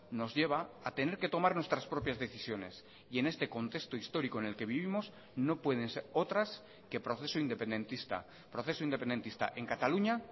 nos lleva a tener que tomar nuestras propias decisiones y en este contexto histórico en el que vivimos no pueden ser otras que proceso independentista proceso independentista en cataluña